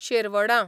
शेरवडां